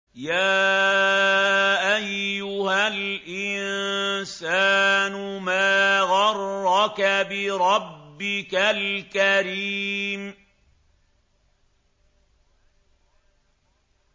يَا أَيُّهَا الْإِنسَانُ مَا غَرَّكَ بِرَبِّكَ الْكَرِيمِ